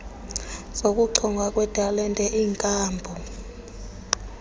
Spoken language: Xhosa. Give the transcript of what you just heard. zokuchongwa kwetalente iinkampu